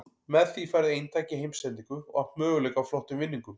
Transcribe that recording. Með því færðu eintak í heimsendingu og átt möguleika á flottum vinningum.